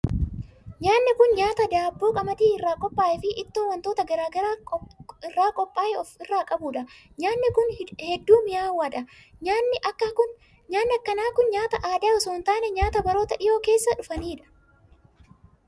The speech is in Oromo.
Nyaanni kun, nyaata daabboo qamadii irraa qophaa'e fi ittoo wantoota garaa garaa irraa qophaa'e of irraa qabuu dha. Nyaanni kun, hedduu mi'aawaa dha. Nyaanni akka kun, nyaata aadaa osoo hin taane nyaata baroota dhihoo keessa dhufanii dha.